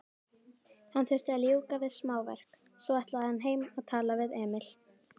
Hann þurfti að ljúka við smáverk, svo ætlaði hann heim og tala við Emil.